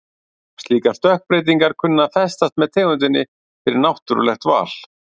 Slíkar stökkbreytingar kunna að festast með tegundinni fyrir náttúrlegt val.